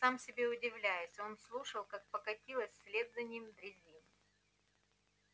сам себе удивляясь он слушал как покатилась вслед за ним дрезин